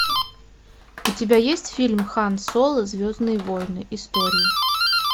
у тебя есть фильм хан соло звездные войны истории